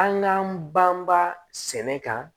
An k'an banbaa sɛnɛ kan